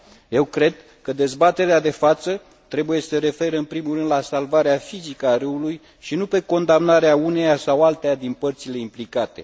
Eu cred că dezbaterea de față trebuie să se refere în primul rând la salvarea fizică a râului și nu pe condamnarea uneia sau alteia din părțile implicate.